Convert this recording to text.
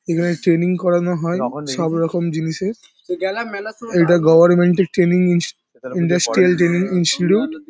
এখানে ট্রেনিং করানো হয় সবরকম জিনিসের। এটা গভর্মেন্ট -এর ট্রেনিং ইনস ইন্ডাস্ট্রিয়াল ট্রেনিং ইনস্টিটিউট ।